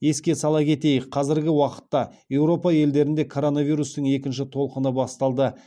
еске сала кетейік қазіргі уақытта еуропа елдерінде коронавирустың екінші толқыны басталды